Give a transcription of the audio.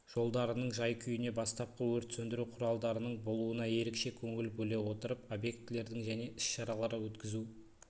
жолдарының жай-күйіне бастапқы өрт сөндіру құралдарының болуына ерекше көңіл бөле отырып объектілердің және іс-шаралар өткізу